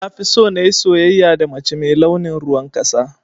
Nafiso nayi soyayya da mace mai launin ruwan ƙasa.